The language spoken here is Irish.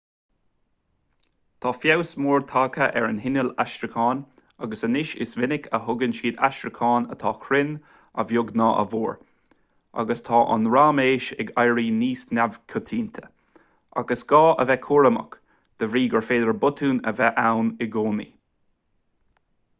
tá feabhas mór tagtha ar na hinnill aistriúcháin agus anois is minic a thugann siad aistriúcháin atá cruinn a bheag nó a mhór agus tá an raiméis ag éirí níos neamhchoitianta ach is gá a bheith cúramach de bhrí gur féidir botúin a bheith ann i gcónaí